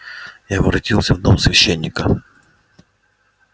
я воротился в дом священника